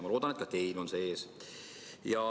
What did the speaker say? Ma loodan, et ka teil on see ees.